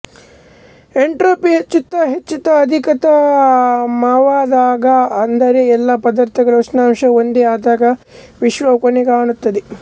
entropy ಹೆಚ್ಚುತ್ತ ಹೆಚ್ಚುತ್ತ ಅಧಿಕತಮವಾದಾಗ ಅಂದರೆ ಎಲ್ಲ ಪದಾರ್ಥಗಳ ಉಷ್ಣಾಂಶವೂ ಒಂದೇ ಆದಾಗ ವಿಶ್ವವು ಕೊನೆಗಾಣುತ್ತದೆ